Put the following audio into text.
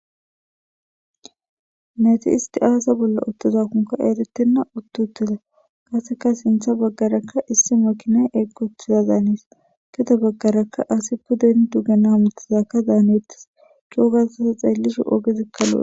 Na7ithi issi aybi bollan uththi uththidakkokka ereththenna; ethappe sinththa baggarakka issi mekiinay eqquuththidaanes; gede baggarakka asi dees; ogezikka beeththoosonakko.